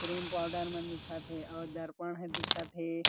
Cream powder मन दिखत हे अउ दर्पण ह दिखत हे।